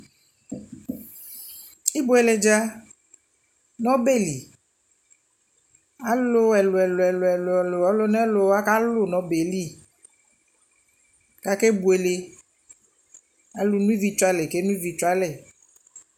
ɛbʋɛlɛ dza nʋ ɔbɛli, alʋ ɛlʋɛlʋ ɔlʋ nɛlʋ kalʋ nʋ ɔbɛli kʋ aka bʋɛlɛ, alʋ nʋ ivi twɛ alɛ kɛ nɔ ivi twɛ alɛ